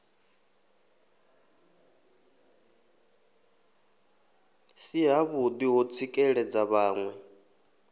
si havhuḓi ho tsikeledza vhaṋwe